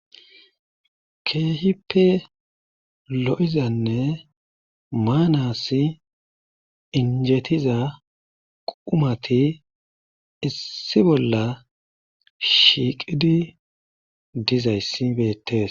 Keehippe lo'izanne maanasi injetiza qumati issi bolla shiiqidi dizayssi beeetees.